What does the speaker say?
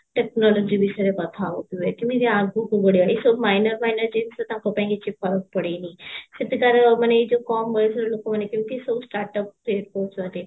technology ବିଷୟରେ କଥା ହଉଥିବେ କେମିତି ଆଗକୁ ବଢିବେ ଏଇ ସବୁ minor minor ଜିନିଷ ତାଙ୍କ ପାଇଁ କିବହି ଫରକ ପଡେନି ସେଠି ତାର ମାନେ ଏଇ ଯଉ କମ ବୟସର ଲୋକମାନେ ସବୁ startup କରୁଛନ୍ତି